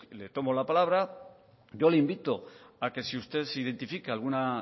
le tomo la palabra yo le invito a que si usted identifica alguna